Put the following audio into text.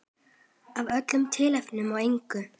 Af öllu tilefni og engu.